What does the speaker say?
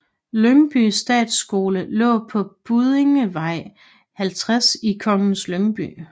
Lyngby Statsskole lå på Buddingevej 50 i Kongens Lyngby